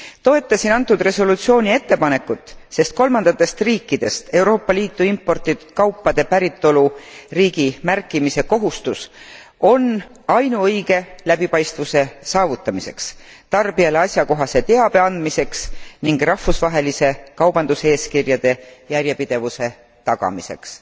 Toetasin antud resolutsiooni ettepanekut, sest kolmandatest riikidest Euroopa Liitu imporditud kaupade päritoluriigi märkimise kohustus on ainuõige läbipaistvuse saavutamiseks, tarbijale asjakohase teabe andmiseks ning rahvusvaheliste kaubanduseeskirjade järjepidevuse tagamiseks.